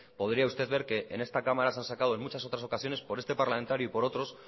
podría usted ver que en esta cámara se han sacado en muchas otras ocasiones por este parlamentario y por otros